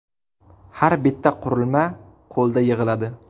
Har bitta qurilma qo‘lda yig‘iladi.